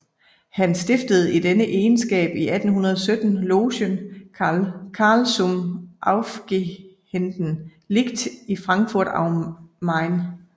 Han stiftede i denne egenskab i 1817 logen Carl zum aufgehenden Licht i Frankfurt am Main